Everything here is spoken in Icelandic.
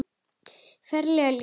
Ferlega ljót.